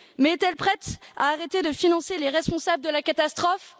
Mais est elle prête à arrêter de financer les responsables de la catastrophe?